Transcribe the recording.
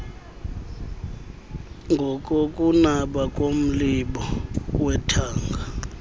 ngokokunaba komlibo wethanga